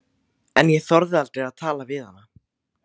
En ég þorði aldrei að tala við hana.